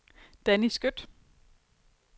Danny Skøtt